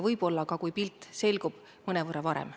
Võib-olla ka, kui pilt selgub, mõnevõrra varem.